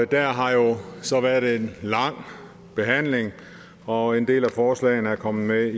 der har jo så været en lang behandling og en del af forslagene er kommet med i